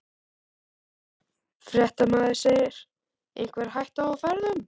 Fréttamaður: Einhver hætta á ferðum?